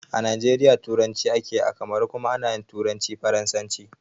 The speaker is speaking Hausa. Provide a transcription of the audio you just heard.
A najeriya turanci akeyi, a kamaru kuma ana turanci faransanci